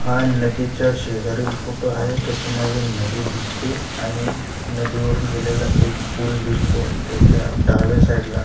हा नदीच्या शेजारील फोटो आहे त्याच्यामधी नदी दिसते आणि नदीवरून गेलेला एक पुल दिसतो त्याच्या डाव्या साइड ला--